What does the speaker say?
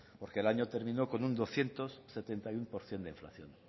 porque el año terminó con un doscientos setenta y uno por ciento de inflación